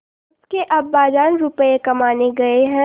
उसके अब्बाजान रुपये कमाने गए हैं